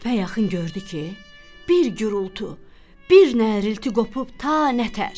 Sübhə yaxın gördü ki, bir gurultu, bir nərəlti qopub ta nətər.